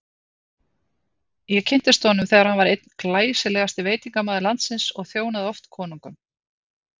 Ég kynntist honum þegar hann var einn glæsilegasti veitingamaður landsins og þjónaði oft konungum.